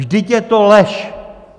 Vždyť je to lež!